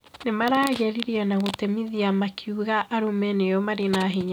Nĩmaragĩrĩria na gũtemithia makiuga arũme nĩo mari na hinya